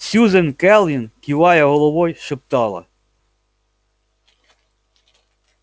сьюзен кэлвин кивая головой шептала